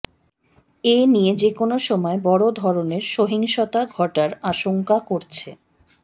এ নিয়ে যেকোনো সময় বড় ধরনের সহিংসতা ঘটার আশংকা করছে